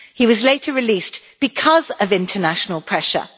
He was later released because of international pressure.